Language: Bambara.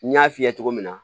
N y'a f'i ye cogo min na